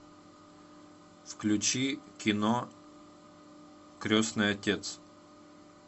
включи кино крестный отец